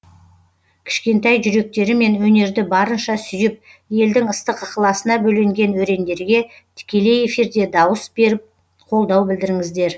кішкентай жүректерімен өнерді барынша сүйіп елдің ыстық ықыласына бөленген өрендерге тікелей эфирде дауыс беріп қолдау білдіріңіздер